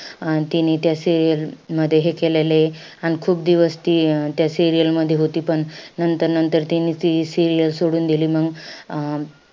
अं तिने त्या serial मध्ये हे केलेलय. अन खूप दिवस ती अं त्या serial मध्ये होती. पण नंतर-नंतर ती तिने ती serial सोडून दिली. मंग अं